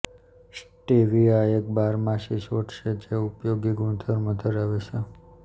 stevia એક બારમાસી છોડ છે જે ઉપયોગી ગુણધર્મો ધરાવે છે